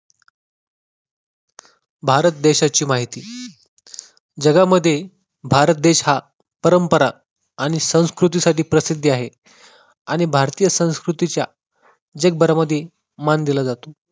भारत देशाची माहिती जगामध्ये भारत देश हा परंपरा आणि संस्कृतीसाठी प्रसिद्धी आहे. आणि भारतीय संस्कृतीच्या जगभरामध्ये मान दिला जातो.